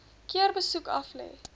keer besoek aflê